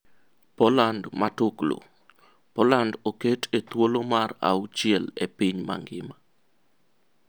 Poland Matuklu: Poland oket e thuolo mar auchiel e piny mangima.